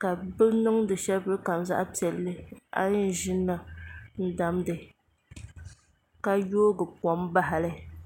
ka bi niŋ di shɛli polo kam zaɣ piɛlli a yi yɛn ʒinimi n damgi ka yoogi kom bahali